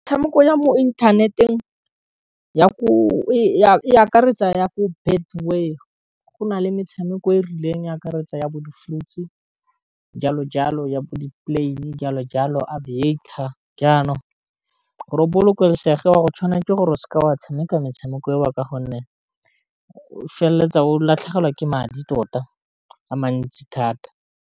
Metshameko ya mo inthaneteng ya ko e akaretsa ya ko Betway go na le metshameko e rileng e akaretsa ya bo di-fruit's jalo jalo, ya bo di plane jalo jalo, a Aviator yanong gore o bolokesege wa go tshwanela ke gore o seka wa tshameka metshameko e o, ka gonne o feleletsa o latlhegelwa ke madi tota a mantsi thata.